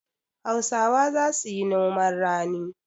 Hausawa za su yi noman rani.